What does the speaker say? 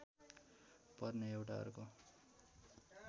पर्ने एउटा अर्को